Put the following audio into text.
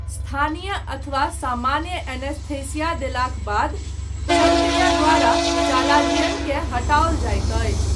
स्थानीय अथवा सामान्य एनेस्थीसिया देलाक बाद, शल्यक्रिया द्वारा चालाजियनकेँ हटाओल जाइत अछि।